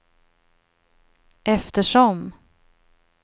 eftersom